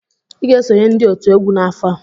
Ị ga-esonyere ndị otu egwu n'afọ a!